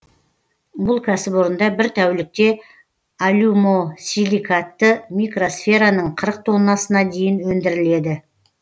бұл кәсіпорында бір тәулікте алюмосиликатты микросфераның қырық тоннасына дейін өндіріледі